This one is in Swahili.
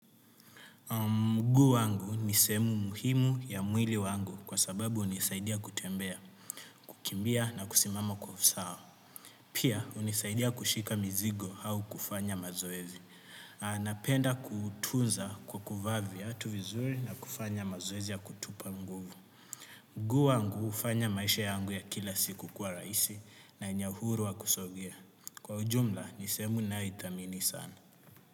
Mguu wangu ni sehemu muhimu ya mwili wangu, kwa sababu hunisaidia kutembea, kukimbia na kusimama kwa usawa. Pia hunisaidia kushika mzigo au kufanya mazoezi. Napenda kutunza kwa kuvaa viatu vizuri na kufanya mazoezi ya kutupa. Mguu wangu hufanya maisha yangu ya kila siku kuwa rahisi na ina uhuru wa kusogea. Kwa ujumla ni sehemu ninayoithamini sana.